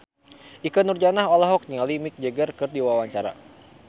Ikke Nurjanah olohok ningali Mick Jagger keur diwawancara